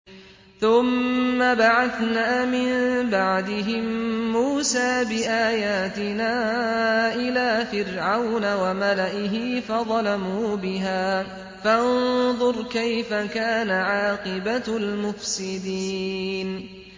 ثُمَّ بَعَثْنَا مِن بَعْدِهِم مُّوسَىٰ بِآيَاتِنَا إِلَىٰ فِرْعَوْنَ وَمَلَئِهِ فَظَلَمُوا بِهَا ۖ فَانظُرْ كَيْفَ كَانَ عَاقِبَةُ الْمُفْسِدِينَ